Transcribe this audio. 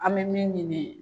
An bɛ min ɲini